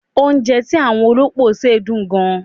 Oúnjẹ tí àwọn olópò ṣe dùn gan.